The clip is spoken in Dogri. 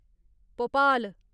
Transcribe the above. भोपाल